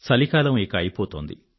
చలికాలం ఇక అయిపోతోంది